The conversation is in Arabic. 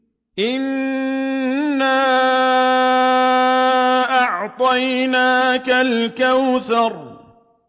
إِنَّا أَعْطَيْنَاكَ الْكَوْثَرَ